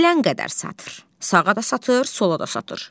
Filan qədər satır, sağa da satır, sola da satır.